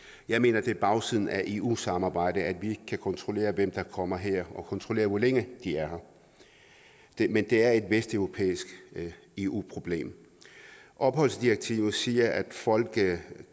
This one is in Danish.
jeg mener at det er bagsiden af eu samarbejdet at vi ikke kan kontrollere hvem der kommer her og kontrollere hvor længe de er her men det er et vesteuropæisk eu problem opholdsdirektivet siger at folk